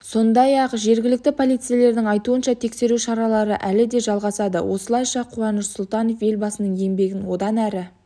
сондай-ақ жергілікті полицейлердің айтуынша тексеру шаралары әлі де жалғасады осылайша қуаныш сұлтанов елбасының еңбегін одан әрі